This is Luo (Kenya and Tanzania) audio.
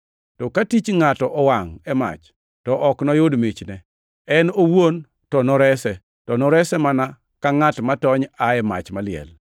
To ka tich ngʼato owangʼ e mach, to ok noyud michne. En owuon to norese, to norese mana ka ngʼat matony aa e mach maliel.